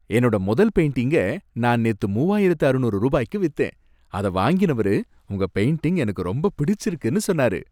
என்னோட முதல் பெயிண்டிங்க நான் நேத்து மூவாயிரத்து அறுநூறு ரூபாய்க்கு வித்தேன். அதை வாங்கினவரு உங்க பெயிண்டிங் எனக்கு ரொம்ப பிடிச்சிருக்குன்னு சொன்னாரு